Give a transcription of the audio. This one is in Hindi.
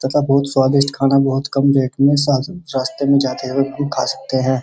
तथा बहोत स्वादिष्ट खाना बहोत कम देखने को रास्ते में जाते वक़्त कोई खा सकते हैं।